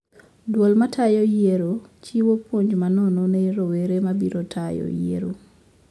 Duol matayo yiero chiwo puonj ma nono ne rowere mabiro tayo yiero